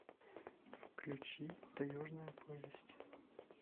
включи таежная повесть